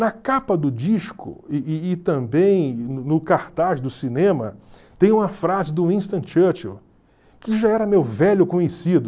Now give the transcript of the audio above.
Na capa do disco e e e também no no cartaz do cinema, tem uma frase do Winston Churchill, que já era meu velho conhecido.